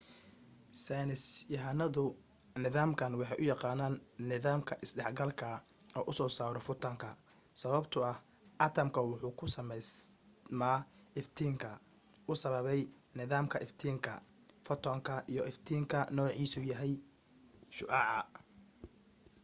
saynis yahanadu nidaamkan waxay u yaqaanaan nidaamka isdhex galka u soo saaro fotanka sababto ah atamka wuxuu ku sameysma iftiinka uu sababay nidaamka iftiinka fotanka iyo iftiinka noocisa yahay shucaca